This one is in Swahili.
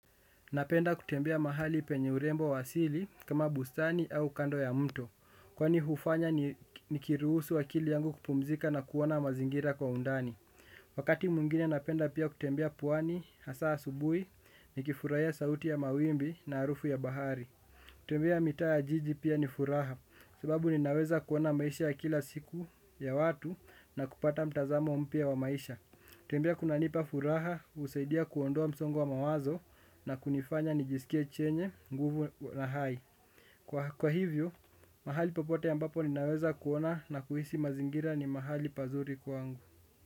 Napenda kutembea mahali penye urembo asili kama bustani au kando ya mto. Kwani hufanya nikirusu akili yangu kupumzika na kuona mazingira kwa undani. Wakati mwingine napenda pia kutembea pwani, hasa asubuhi nikifurahia sauti ya mawimbi na harufu ya bahari. Kutembea mitaa ya jiji pia ni furaha, sababu ninaweza kuona maisha ya kila siku ya watu na kupata mtazamo mpya wa maisha. Kutembea kunanipa furaha, husaidia kuondoa msongo wa mawazo na kunifanya nijiskie chenye, nguvu na hai. Kwa hivyo, mahali popote ambapo ninaweza kuona na kuhisi mazingira ni mahali pazuri kwangu.